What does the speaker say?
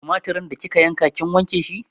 Tumatirin da kika yanka kin wanke shi?